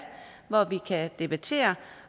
hvor vi kan debattere